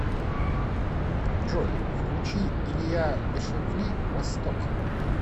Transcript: джой включи илья бешевли восток